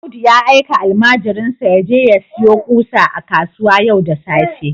Audu ya aika almajirinsa ya je sayo ƙusa a kasuwa yau da safe